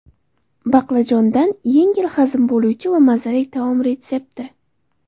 Baqlajondan yengil hazm bo‘luvchi va mazali taom retsepti.